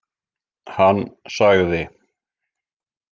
Hann sagði: